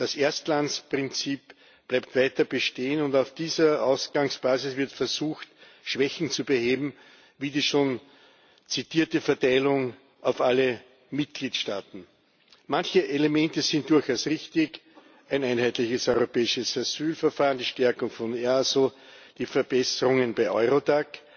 Das Erstlandsprinzip bleibt weiter bestehen, und auf dieser Ausgangsbasis wird versucht, Schwächen zu beheben, wie die schon zitierte Verteilung auf alle Mitgliedstaaten. Manche Elemente sind durchaus richtig ein einheitliches europäisches Asylverfahren, die Stärkung von EASO, die Verbesserungen bei EURODAC